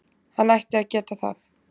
Hann ætti að geta það.